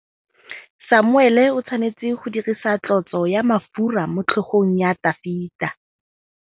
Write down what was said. Samuele o tshwanetse go dirisa tlotsô ya mafura motlhôgong ya Dafita.